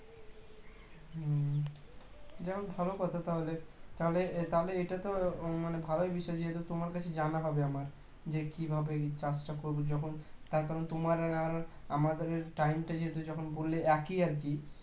যাহোক ভালো কথা তাহলে তাহলে তাহলে এটা তো মানে ভাল বিষয়ে তোমার কাছে জানা হবে আমার যে কী ভাবে এই চাষটা করব যখন তারকারণ তোমার আর আমার time টা যেহেতু যখন বললে একই আর কি